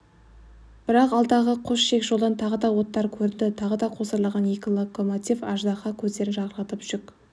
бірақ алдағы қос шек жолдан тағы да оттар көрінді тағы да қосарланған екі локомотив аждаһа көздерін жарқыратып жүк